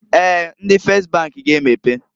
Eeǃ Ndi Fes bank g'emepe.